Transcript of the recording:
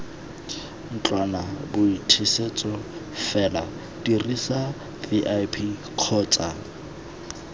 ntlwanaboithusetso fela dirisa vip kgotsa